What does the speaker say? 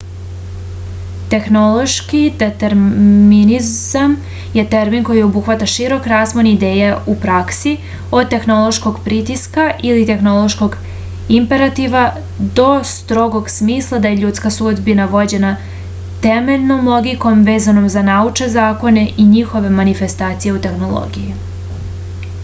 tehnološki determinizam je termin koji obuhvata širok raspon ideja u praksi od tehnološkog pritiska ili tehnološkog imperativa do strogog smisla da je ljudska sudbina vođena temeljnom logikom vezanom za naučne zakone i njihove manifestacije u tehnologiji